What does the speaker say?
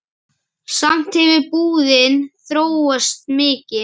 Samt hefur búðin þróast mikið.